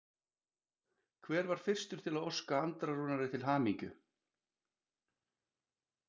Hver var fyrstur til að óska Andra Rúnari til hamingju?